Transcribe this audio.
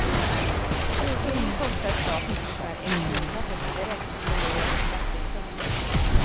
Smugglingen kostar staten ungefär en krona per cigarett i förlorade skatteintäkter.